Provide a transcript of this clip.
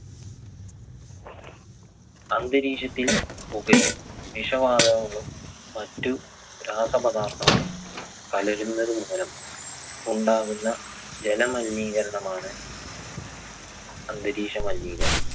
അന്തരീക്ഷത്തിൽ പുകയും, വിഷവാതകങ്ങളും, മറ്റു രാസപദാർത്ഥങ്ങളും കലരുന്നത് മൂലം ഉണ്ടാകുന്ന ജലമലിനീകരണം ആണ് അന്തരീക്ഷ മലിനീകരണം.